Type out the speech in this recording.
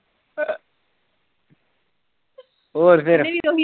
ਹੋਰ ਫਿਰ